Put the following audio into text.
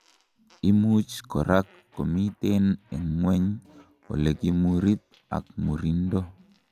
imuch korak komiten en ngweny olekokimurit ak murindo